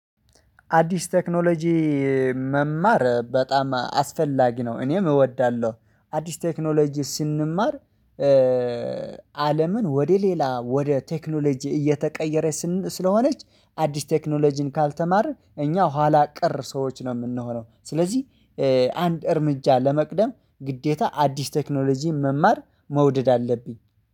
አዲስ ቴክኖሎጂ መማር በጣም አስፈላጊ ነው። እኔም እወዳለሁ። አዲስ ቴክኖሎጂ ስንማር። አለምን ወደ ሌላ ወደ ቴክኖሎጂ እየተቀየረ ስንል ስለሆነች አዲስ ቴክኖሎጂን ካልተማርክ እኛ ኋላ ቅር ሰዎች ነው የምንሆነው። ስለዚህ አንድ እርምጃ ለመቅደም ግዴታ አዲስ ቴክኖሎጂን መማር መውደድ አለብኝ